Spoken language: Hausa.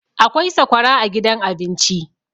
akwai sakwara a gidan abinci